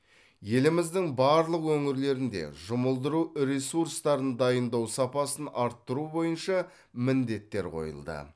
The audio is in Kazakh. еліміздің барлық өңірлерінде жұмылдыру ресурстарын дайындау сапасын арттыру бойынша міндеттер қойылды